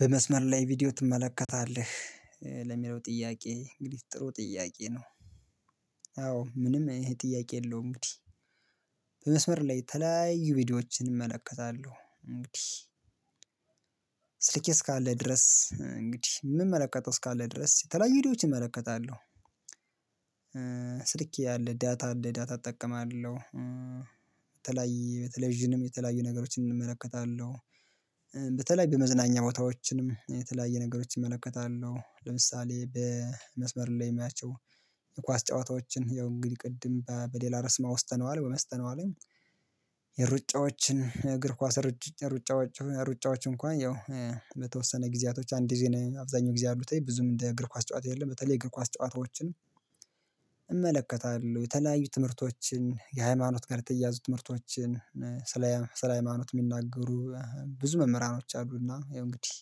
በመስመር ላይ ቪዲዮ ትመለከታለህ ለሚለው ጥያቄ እንግዲህ ጥሩ ጥያቄ ነው አዎ ምንም ጥያቄ የለውም እንግዲህ በመስመር ላይ የተለያዩ ቪዲዮዎችን እመለከታለሁ እንግዲህ ስልኬ እስካለ ድረስ እንግዲህ የምመ መለከቸው እስካለ ድረስ የተለያዩ ቪዲዮዎች እመለከታለሁ ስልክ ያለ ዳታ እንደ ዳታ እጠቀማለሁ የተለያየ በቴሌቭዥንም የተለያዩ ነገሮችን እመለከታለሁ በተለይ በመዝናኛ ቦታዎችንም የተለያየ ነገሮችን እመለከታለሁ ለምሳሌ በመስመር ላይ የማያቸው የኳስ ጨዋታዎችን ያው እንግዲህ ቅድም በሌላ ርስ አውስተነዋል አውስተነዋልም የሩጫዎችን የእግር ኳስ ሩጫዎች ሩጫዎች እንኳን ያው በተወሰነ ጊዜያቶች አንድ ጊዜ አብዛኛው ጊዜ ያሉት ብዙም እንደ ኳስ ጨዋታ የለም በተለይ እግር ኳስ ጨዋታዎችም እመለከታለሁ የተለያዩ ትምህርቶችን የሃይማኖት ጋር የተያዙ ትምህርቶችን ስለ ስለ ሃይማኖት የሚናገሩ ብዙ መምህራኖች አሉና እንግዲህ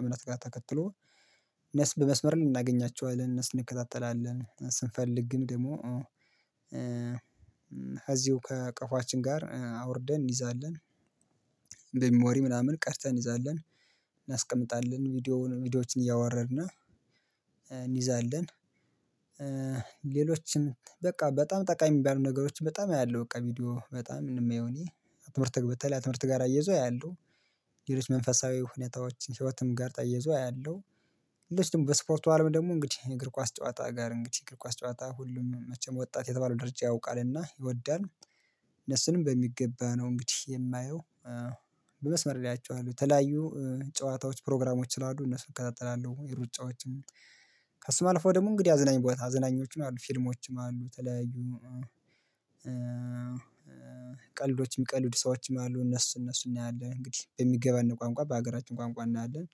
እምነት ጋ ተከትሎ እነሱን በመስመር ልናገኛቸው እነሱን እንከታተላለን ስንፈልግ ግን ደግሞ እዚሁ ከቀፎአችን ጋር አውርደን እንይዛለን ምናምን ቀርተን ይዛለን እናስቀምጣለን ቪዲዮውን ቪዲዮዎችን እያወረድና እንይዛለን ሌሎችን በቃ በጣም ጠቃሚ የሚባሉ ነገሮችን በጣም አያለሁ በቃ ቪዲዮ በጣም የማየው እኔ ትምህርት በተለይ ትምህርት ጋር አያይዞ አያለሁ ሌሎች መንፈሳዊ ሁኔታዎችን ህይወትም ጋር ተይዞ አያለሁ። ሌሎች ደግሞ በስፖርቱ አለም ደግሞ እንግዲህ እግር ኳስ ጨዋታ ጋር እንግዲህ እግር ኳስ ጨዋታ ሁሉንም መቼም ወጣት የተባለው ደረጃ ያውቃልና ይወዳል እነሱንም በሚገባ ነው እንግዲህ የማየው በመስመር ላይ አየቸዋለሁ። የተለያዩ ጨዋታዎች ፕሮግራሞች ስላሉ እነሱን እከታተላለሁ፤ የሩጫዎችም ከሱም አልፎ ደግሞ እንግዲህ አዝናኝ ቦታ አዝናኞችም አሉ ፊልሞችም አሉ ተለያዩ ቀልዶችም ቀልድ ሰዎችም አሉ እነሱ እነሱ እናያለን እንግዲህ በሚገባን ቋንቋ በሀገራችን ቋንቋ እናያለን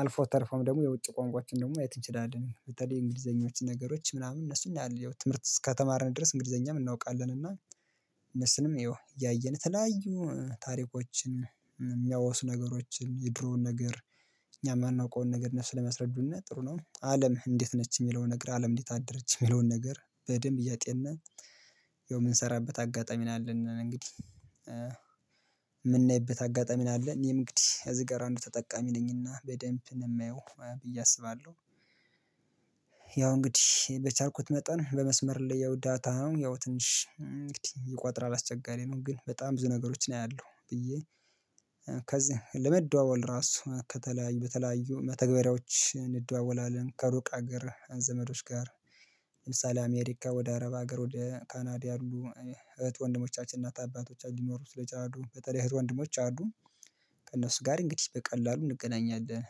አልፎ ተርፎም ደግሞ የውጭ ቋንቋዎችን ደግሞ ማየት ችላለን በተለይ የእንግሊዘኞች ነገሮች ምናምን እነሱን ያህል ትምህርት ከተማርን ድረስ እንግሊዘኛም እናውቃለን እና እነሱንም ይኸው እያየን ተለያዩ ታሪኮችን የሚያወሱ ነገሮችን የድሮውን ነገር እኛ የማናውቀውን ነገር እነሱ ለማስረዱነ ጥሩ ነው። አለም እንዴት ነች የሚለውን ነገር አለም እንዴት አደረች የሚለውን ነገር በደንብ እያጤናን ያው የምንሰራበት አጋጣሚ ነው ያለነ እንግዲህ የምናይበት አጋጣሚ ነው አለን እኔም እንግዲህ እዚህ ጋር አንዱ ተጠቃሚ ነኝና በደንብ ነው የማየው ብዬ አስባለሁ ያው እንግዲህ በቻርኩት መጠን በመስመር ላይ ያው ዳታ ነው ያው ትንሽ ይቆጥራል አስቸጋሪ ነው ግን በጣም ብዙ ነገሮች አያለሁ ብዬ ለመደዋወል ራሱ ከተለያዩ ተለያዩ መተግበሪያዎች እንደዋወላለን። ከሩቅ ሀገር ዘመዶች ጋር ለምሳሌ አሜሪካ ወደ አረብ ሀገር ወደ ካናድ ያሉ እህት ወንድሞቻችን እናት አባቶች ሊኖሩ ስለቻሉ በተለይ እህት ወንድሞች አሉ። ከእነሱ ጋር እንግዲህ በቀላሉ እንገናኛለን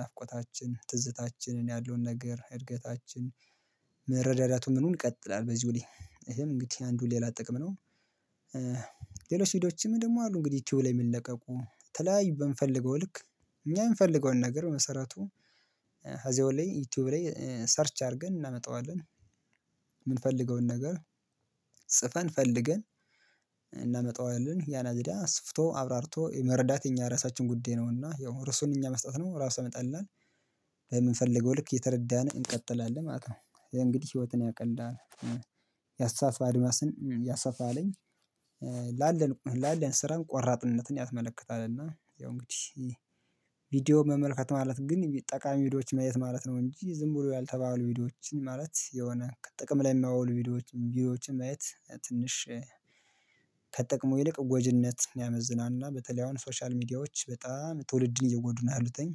ናፍቆታችን ትዝታችንን ያለውን ነገር እድገታችን መረዳዳቱን ምኑን ይቀጥላል በዚሁኔ ይሄም እንግዲህ አንዱ ሌላ ጥቅም ነው ሌሎች ቪዲዮች ደግሞ አሉ እንግዲህ ቲዩብ ላይ የሚለቀቁ ተለያዩ በምፈልገው ልክ እኛ የምንፈልገውን ነገር መሰረቱ እዚያ ላይ ዩቲዩብ ላይ ሰርች አድርገን እናመጣዋለን የምንፈልገውን ነገር ጽፈን ፈልገን እናመጣዋለን ያለዝዳ አስፍቶ አብራርቶ የመረዳት የኛ ራሳችን ጉዳይ ነውና ያው ርሱን እኛ መስጠት ነው ራሱ መጣልናል የምንፈልገው ልክ የተረዳን እንቀጥላለን ማለት ነው የእንግዲህ ህይወትን ያቀልዳል ያስተሳ አድማስን ያሳፋልኝ ላለን ስራን ቆራጥነትን ያስመለክታል እና ያው እንግዲህ መመልከት ማለት ግን ጠቃሚ ቪዲዮዎች ማየት ማለት ነው እንጂ ዝም ብሎ ያልተባሉ ቪዲዮዎችን ማለት የሆነ ከጥቅም ላይ የማይውሉ ቪዲዮዎችን ቪዲዮዎችን ማየት ትንሽ ከጥቅሙ ይልቅ ጎጅነት ያመዝናልና በተለይ አሁን ሶሻል ሚዲያዎች በጣም ትውልድን እየጎዱ ነው ያሉትኝ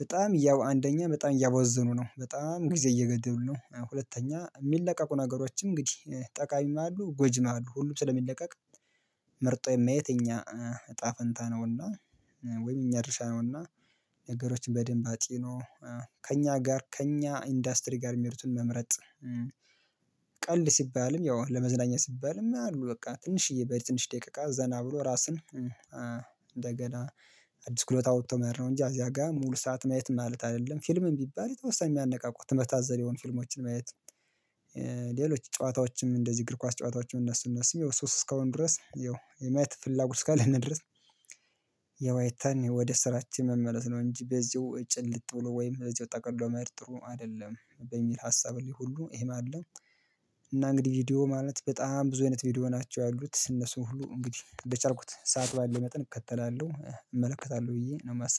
በጣም ያው አንደኛ በጣም ያወዘኑ ነው በጣም ጊዜ እየገደሉ ነው ሁለተኛ የሚለቀቁ ነገሮችን እንግዲህ ጠቃሚም አሉ ጎጂም አሉ ሁሉም ስለሚለቀቅ መርጦ የማየት እኛ እጣ ፈንታ ነውና ወይም እኛ ድርሻ ነውና ነገሮችን በደንብ አጢኖ ከእኛ ጋር ከእኛ ኢንዱስትሪ ጋር የሚሄዱትን መምረጥ ቀልድ ሲባልም ያው ለመዝናኛ ሲባልም አሉ በቃ ትንሽዬ በትንሽ ደቂቃ ዘና ብሎ ራስን እንደገና አዲስ ክሎት አውጥቶ መሄድ ነው እንጂ አዚያ ጋር ሙሉ ሰዓት ማየት ማለት አይደለም ፊልምም ቢባል የተወሰነ የሚያነቃቁ ትምህርት አዘል የሆኑ ፊልሞችን ማየት ነው ሌሎች ጨዋታዎችም እንደዚህ እግር ኳስ ጨዋታዎችም እነሱ እነሱ ይኸው ሶስት እስካሁን ድረስ ይኸው የማየት ፍላጎት ካለን ድረስ የዋይታን ወደ ስራችን መመለስ ነው እንጂ በዚሁ ጭልጥ ብሎ ወይም በዚሁ ጠቅልሎ መሄድጥሩ አይደለም በሚል ሀሳብ ላይ ሁሉ ይሄ አለ እና እንግዲህ ቪዲዮ ማለት በጣም ብዙ አይነት ቪዲዮ ናቸው ያሉት እነሱን ሁሉ እንግዲህ እንደቻልኩት ሰዓት ባለው መጠን እከተላለሁ እመለከታለሁ ብዬ ነው የማስበው